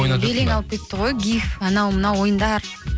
белең алып кетті ғой гив анау мынау ойындар